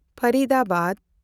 Faridabad